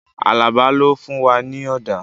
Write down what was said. Alaba ló fún wa ní ọ̀dà